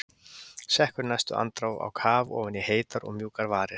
Sekkur í næstu andrá á kaf ofan í heitar og mjúkar varir.